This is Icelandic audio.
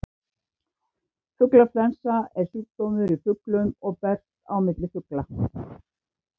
Fuglaflensa er sjúkdómur í fuglum og berst á milli fugla.